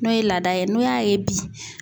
N'o ye laada ye, n'o y'a ye bi